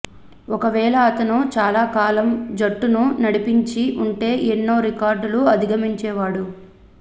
ఒకవేళ అతను చాలా కాలం జట్టును నడిపించి ఉంటే ఎన్నో రికార్డులు అధిగమించేవాడు